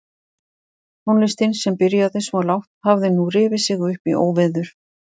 Tónlistin sem byrjaði svo lágt hafði nú rifið sig upp í óveður.